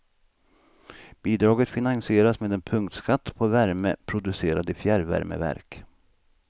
Bidraget finansieras med en punktskatt på värme producerad i fjärrvärmeverk.